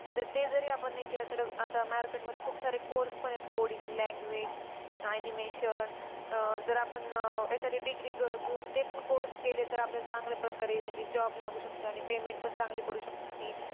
ते जरी आपण नाही केलं तरी आता market मध्ये खूप सारे course पण आहेत coding language, animation अं जर आपण अह एखादी degree घेऊन पण आपण course केला तर आपल्याला चांगल्या प्रकारे म्हणजे job लागू शकतो. Payment पण चांगली पडू शकते.